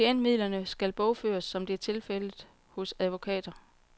Klientmidlerne skal bogføres, som det er tilfældet hos advokater.